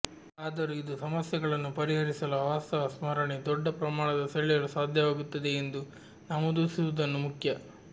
ಆದರೂ ಇದು ಸಮಸ್ಯೆಗಳನ್ನು ಪರಿಹರಿಸಲು ಅವಾಸ್ತವ ಸ್ಮರಣೆ ದೊಡ್ಡ ಪ್ರಮಾಣದ ಸೆಳೆಯಲು ಸಾಧ್ಯವಾಗುತ್ತದೆ ಎಂದು ನಮೂದಿಸುವುದನ್ನು ಮುಖ್ಯ